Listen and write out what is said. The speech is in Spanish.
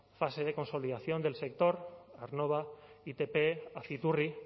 fase de consolidación del sector aernnova itp aciturri